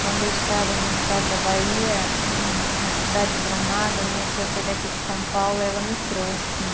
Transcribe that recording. Quando eu estava no estado da Bahia, hm, na cidade de Brumada, minha tia foi daqui de São Paulo e ela me trouxe.